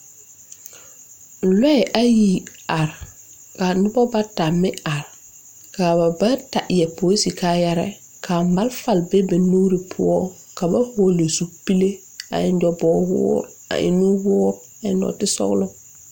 Lɔɛ ayi are ka nobɔ bata meŋ are kaa ba bata yɛre polise kaayɛreɛɛ kaa malfa be ba nuure poɔ ka ba hɔɔle zupile a eŋ nyoboge woore a eŋ nuwoore a su kparesɔglɔ.